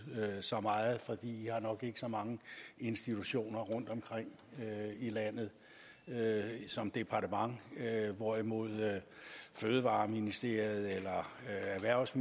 så meget for de har nok ikke så mange institutioner rundtomkring i landet som departement hvorimod der i fødevareministeriet eller erhvervs